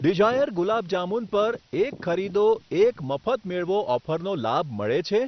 Dzire gulab jamun પર 'એક ખરીદો, એક મફત મેળવો' ઓફરનો લાભ મળે છે?